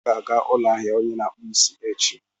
M ga-aga ụlọ ahịa onye na-akpụ isi echi.